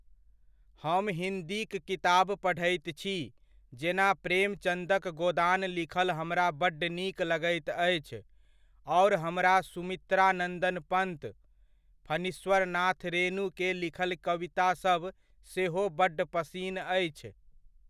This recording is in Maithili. हम हिन्दीक किताब पढ़ैत छी, जेना प्रेमचन्दक गोदान लिखल हमरा बड्ड नीक लगैत अछि आओर हमरा सुमित्रा नन्दन पन्त, फणीश्वर नाथ रेणु के लिखल कवितासब सेहो बड्ड पसिन अछि।